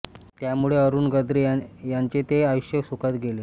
त्यामुळे अरुण गद्रे यांचे ते आयुष्य सुखात गेले